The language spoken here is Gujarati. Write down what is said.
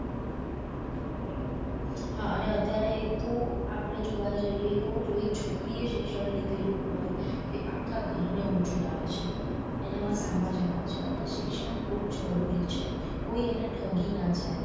હા અને અત્યારે તો આપડે જોવા જઇયે તો જો એ છોકરી એ શિક્ષણ લીધેલું હોય તે આખા ઘર ને ઊંચું લાવે છે એના માં સમાજ આવે છે અને શિક્ષણ બહુજ જરૂરી છે કોઈ એને ઠગી ન જાય.